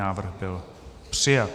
Návrh byl přijat.